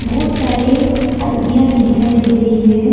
बहुत सारी अलमिया भी दिखाई दे रही है।